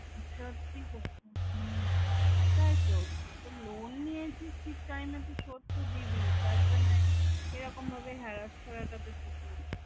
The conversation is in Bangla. সত্যি গো তাই তো loan নিয়ে তুই ঠিক time এ তো এ শোধ তো দিবি যার জন্য এরকম harass করাটা তো ঠিক নয়